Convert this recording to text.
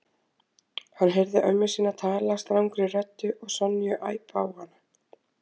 Hann heyrði ömmu sína tala strangri röddu og Sonju æpa á hana.